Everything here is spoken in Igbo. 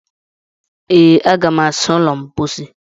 ee, Aga m asa ụlọ mposi